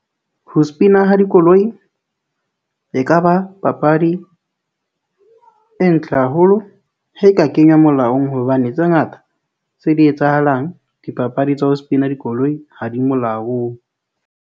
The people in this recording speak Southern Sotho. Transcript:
Ho spin-a ha dikoloi e ka ba papadi e ntle haholo he e ka kenywa molaong hobane tse ngata tse di etsahalang, dipapadi tsa ho spin-a dikoloi ha di molaong.